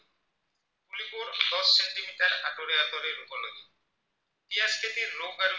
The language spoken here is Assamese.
খেতিৰ local